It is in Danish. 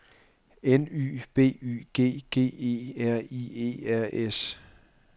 N Y B Y G G E R I E R S